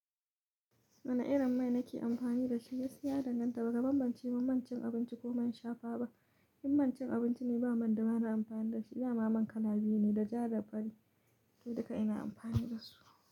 Wane irin mai nake amfani da shi? Gaskiya ya danganta, ba ka bambancewa manci abinci ko man shafawa ba. In mancin abinci ne, ba man da mana amfani da shi. Dama man kala biyu ne da ja da fari, to duka ina amfani da su.